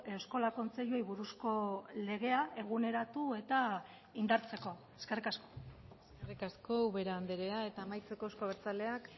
eskola kontseiluei buruzko legea eguneratu eta indartzeko eskerrik asko eskerrik asko ubera andrea eta amaitzeko euzko abertzaleak